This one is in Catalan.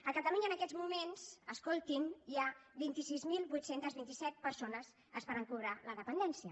a catalunya en aquests moments escoltin hi ha vint sis mil vuit cents i vint set persones esperant cobrar la dependència